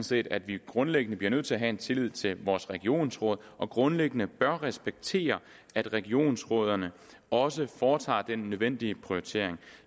set at vi grundlæggende bliver nødt til at have tillid til vores regionsråd og grundlæggende bør respektere at regionsrødderne også foretager den nødvendige prioritering